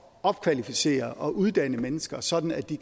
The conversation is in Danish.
opkvalificere og uddanne mennesker sådan at de